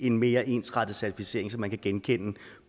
en mere ensartet certificering som man kan genkende